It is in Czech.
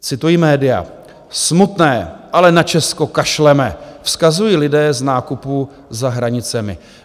Cituji média: Smutné, ale na Česko kašleme, vzkazují lidé z nákupů za hranicemi.